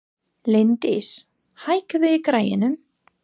Líndís, hækkaðu í græjunum.